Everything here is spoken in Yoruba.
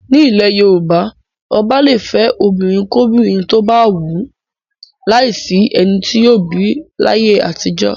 Nílẹ̀ Yorùbá, ọba le fẹ́ obìnrinkóbìnrin tó bá wù ú, láìsí ẹni tí yóò bì í láyé àtijọ́.